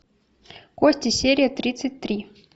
кости серия тридцать три